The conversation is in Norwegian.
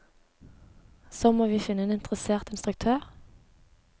Så må vi finne en interessert instruktør.